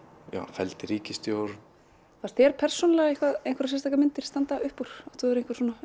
felldi ríkisstjórn fannst þér persónulega einhverjar sérstakar myndir standa upp úr átt þú þér einhver svona